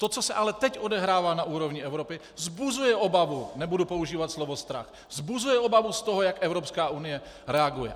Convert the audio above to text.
To, co se ale teď odehrává na úrovni Evropy, vzbuzuje obavu, nebudu používat slovo strach, vzbuzuje obavu z toho, jak Evropská unie reaguje.